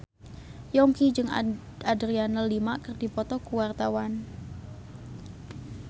Yongki jeung Adriana Lima keur dipoto ku wartawan